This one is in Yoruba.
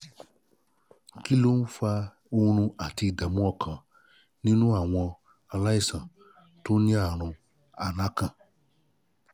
um kí ló kí ló ń fa oorun um àti ìdààmú ọkàn nínú àwọn aláìsàn tó ní àrùn alakan?